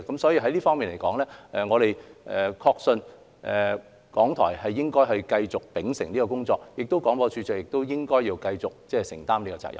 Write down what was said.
所以，在此方面，我們確信港台應該繼續秉承這工作，而廣播處長亦應該繼續承擔這個責任。